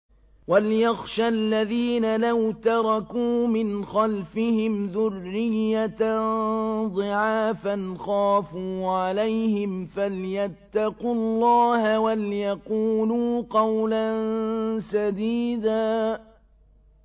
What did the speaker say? وَلْيَخْشَ الَّذِينَ لَوْ تَرَكُوا مِنْ خَلْفِهِمْ ذُرِّيَّةً ضِعَافًا خَافُوا عَلَيْهِمْ فَلْيَتَّقُوا اللَّهَ وَلْيَقُولُوا قَوْلًا سَدِيدًا